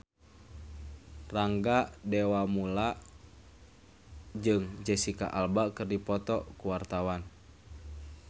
Rangga Dewamoela jeung Jesicca Alba keur dipoto ku wartawan